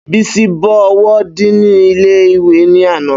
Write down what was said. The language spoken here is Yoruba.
Bísí bọ ọwọ́ díìnì ilé ìwé ní àná